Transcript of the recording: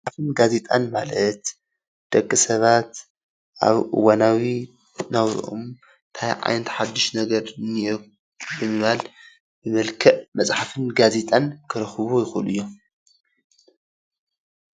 መፅሓፍን ጋዜጣን ማለት ደቂ ሰባት ኣብ እዋናዊ ናብረኦም እንታይ ዓይነት ሓዱሽ ነገር እኒኦ ብምባል ብመልክዕ መፅሓፍን ጋዜጣን ክረኽብዎ ይኽእሉ እዮም፡፡